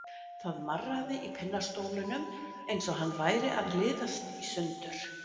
Það marraði í pinnastólnum eins og hann væri að liðast í sundur.